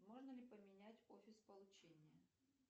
можно ли поменять офис получения